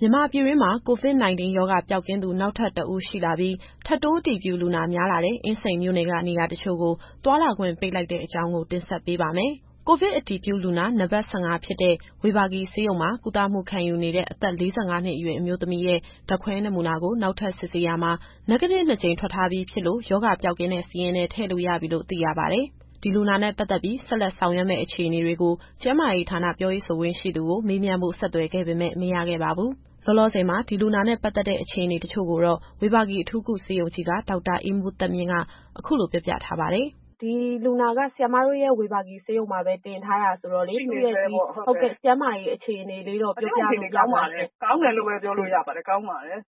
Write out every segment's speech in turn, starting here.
မြန်မာပြည်တွင်းမှာ COVID-19 ရောဂါပျောက်ကင်းသူ နောက်ထပ်တဦးရှိလာပြီး၊ ထပ်တိုးအတည်ပြုလူနာ များလာတဲ့ အင်းစိန်မြို့နယ်က နေရာတချို့ကို သွားလာခွင့်ပိတ်လိုက်တဲ့အကြောင်းကို ဗွီအိုအေမြန်မာပိုင်းသတင်းထောက် မစုစုက တင်ဆက်ပေးပါတယ်။ ကိုဗစ်အတည်ပြုလူနာ နံပါတ် ၁၅ဖြစ်တဲ့ ဝေဘာဂီဆေးရုံမှာ ကုသမှုခံယူနေတဲ့ အသက် ၄၅ နှစ်အရွယ် အမျိုးသမီးရဲ့ ဓာတ်ခွဲနမူနာကို နောက်ထပ်စစ်ဆေးရာမှာ Negative နှစ်ကြိမ်ထွက်ထားပြီးဖြစ်လို့ ရောဂါပျောက်ကင်းတဲ့ စာရင်းထဲထည့်လို့ရပြီလို့ သိရပါတယ်။ ဒီလူနာနဲ့ပတ်သက်ပြီး ဆက်လက်ဆောင်ရွက်မယ့်အခြေအနေတွေကို ကျန်းမာရေးဌာနပြောရေးဆိုခွင့်ရှိသူကို မေးမြန်းဖို့ဆက်သွယ်ခဲ့ပေမဲ့ မရခဲ့ပါဘူး။ လောလောဆယ်မှာ လူနာနဲ့ ပတ်သက်တဲ့ အခြေအနေတချို့ကိုတော့ ဝေဘာဂီအထူးကုဆေးရုံကြီးက ဒေါက်တာအေးမိုးသက်မြင့်က အခုလိုပြောပြထားပါတယ်။ စုစု။ ဒီလူနာက ဆရာမတို့ရဲ့ ဝေဘာဂီဆေးရုံမှာပဲ တင်ထားတာဆိုတော့ သူ့ရဲ့ကျန်းမာရေးအခြေအနေ ပြောပြလို့ရမလားရှင့်။ ဒေါက်တာအေးမိုးသက်မြင့်။ ကျန်းမာရေး အခြေအနေကောင်းပါတယ်။ ကောင်းတယ်လို့ပဲ ပြောလို့ရပါတယ်။ ကောင်းပါတယ်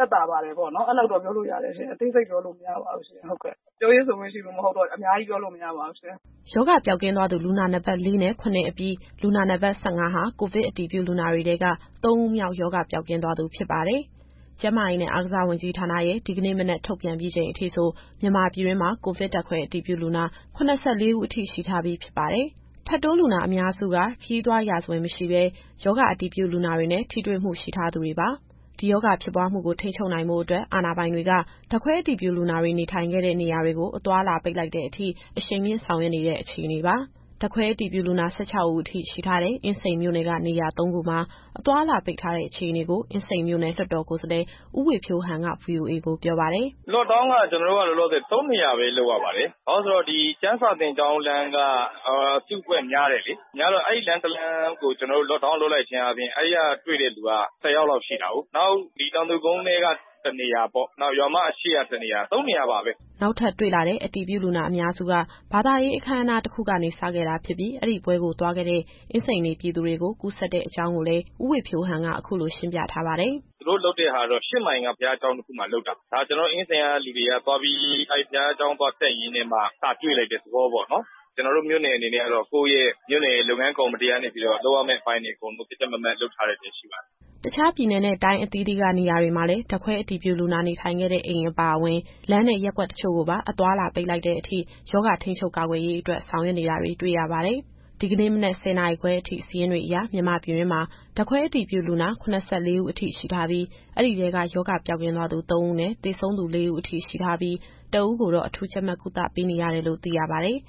သက်သာပါတယ်ပေါ့နော်။ အဲလောက်တော့ပြောလို့ရတယ်ရှင့်။ အသေးစိတ်ပြောလို့ မရပါဘူးရှင့်။ ဟုတ်ကဲ့။ ပြောရေးဆိုခွင့်ရှိသူမဟုတ်တော့ အများကြီးပြောလို့ မရပါဘူးရှင်။ ရောဂါပျောက်ကင်းသွားသူ လူနာနံပါတ် ၄ နဲ့ ၇ အပြီး လူနာနံပါတ် ၁၅ ဟာ ကိုဗစ်အတည်ပြုလူနာတွေထဲက သုံးဦးမြောက်ရောဂါ ပျောက်ကင်းသွားသူ ဖြစ်ပါတယ်။ ကျန်းမာရေးနဲ့ အားကစားဝန်ကြီးဌာနရဲ့ ဒီကနေ့မနက် ထုတ်ပြန်ပြီးချိန်အထိဆို မြန်မာပြည်တွင်းမှာ ကိုဗစ်ဓာတ်ခွဲအတည်ပြုလူနာ ၇၄ ဦး အထိ ရှိထားပြီးဖြစ်ပါတယ်။ ထပ်တိုးလူနာအများစုက ခရီးသွားရာဇဝင် မရှိဘဲ ရောဂါအတည်ပြုလူနာတွေနဲ့ ထိတွေ့မှုရှိထားသူတွေပါ။ ဒီရောဂါဖြစ်ပွားမှုကို ထိန်းချုပ်နိုင်ဖို့အတွက် အာဏာပိုင်တွေက ဓာတ်ခွဲအတည်ပြုလူနာတွေ နေထိုင်ခဲ့တဲ့နေရာတွေကို အသွားအလာပိတ်လိုက်တဲ့အထိ အရှိန်မြှင့်ဆောင်ရွက်နေတဲ့အခြေအနေပါ။ ဓာတ်ခွဲအတည်ပြုလူနာ ၁၆ ဦးအထိရှိထားတဲ့ အင်းစိန်မြို့နယ်က နေရာသုံးခုမှာ အသွားအလာပိတ်ထားတဲ့အခြေအနေကို အင်းစိန်မြို့နယ် လွှတ်တော်ကိုယ်စားလှယ် ဦးဝေဖြိုးဟန်က ဗွီအိုအေကိုပြောပါတယ်။ “Lock down က ကျနော်တို့က လောလောဆယ် သုံးနေရာပဲ လုပ်ရပါတယ်။ ဘာဖြစ်လို့လည်းဆိုတော့ ဒီကျမ်းစာသင်ကျောင်းလမ်းက အစုအဖွဲ့များတယ်လေ။ များတော့ အဲဒီလမ်းတလမ်းကို ကျနော်တို့ Lockdown လုပ်လိုက်ခြင်းအားဖြင့် အဲဒီကတွေ့တဲ့လူက ၁၀ယောက်လောက် ရှိတာကိုး။ နောက် ဒီတောင်သူကုန်းထဲက တနေရာပေါ့။ နောက် ရွာမအရှေ့က တနေရာ။ သုံးနေရာပါပဲ။” နောက်ထပ်တွေ့လာတဲ့ အတည်ပြုလူနာအများစုက ဘာသာရေးအခမ်းအနား တခုကနေ စခဲ့တာဖြစ်ပြီး အဲဒီပွဲကိုသွားခဲ့တဲ့ အင်းစိန်နေပြည်သူတွေကို ကူးစက်တဲ့အကြောင်းကိုလည်း ဦးဝေဖြိုးဟန်က အခုလိုရှင်းပြထားပါတယ်။ “သူတို့လုပ်တဲ့ဟာကတော့ ၈ မိုင်က ဘုရားကျောင်းတခုမှာလုပ်တာ။ ကျနော်တို့အင်းစိန်က လူတွေကသွားပြီး အဲဒီဘုရားကျောင်းသွားတက်ရင်းနဲ့မှ စတွေ့လိုက်တဲ့သဘောပေါ့နော်။ ကျနော်တို့မြို့နယ်အနေနဲ့ကတော့ ကိုယ့်ရဲ့မြို့နယ် လုပ်ငန်းကော်မတီကနေပြီးတော့ လုပ်ရမယ့်အပိုင်းတွေအကုန် ကြပ်ကြပ်မတ်မတ်လုပ်ထားတာမျိုး ရှိပါတယ်။” တခြားပြည်နယ်နဲ့ တိုင်းအသီးသီးက နေရာတွေမှာလည်း ဓာတ်ခွဲအတည်ပြုလူနာ နေထိုင်ခဲ့တဲ့အိမ်အပါအဝင် လမ်းနဲ့ ရပ်ကွက်တချို့ကိုပါ အသွားအလာပိတ်ပင်လိုက်တဲ့အထိ ရောဂါကာကွယ်ထိန်းချုပ်ရေးကို ဆောင်ရွက်နေတာတွေ့ရပါတယ်။ ဒီကနေ့မနက် ၁၀ နာရီခွဲအထိ စာရင်းတွေအရ မြန်မာပြည်တွင်းမှာ ဓာတ်ခွဲအတည်ပြုလူနာ ၇၄ ဦးအထိ ရှိထားပြီး၊ အဲဒီထဲက ရောဂါပျောက်ကင်းသူ ၃ ဦးနဲ့ သေဆုံးသူ ၄ ဦးအထိရှိထားပြီး တဦးကိုတော့ အထူးကြပ်မတ်ကုသပေးနေရတယ်လို့ သိရပါတယ်။